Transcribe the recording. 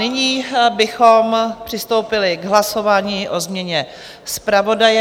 Nyní bychom přistoupili k hlasování o změně zpravodaje.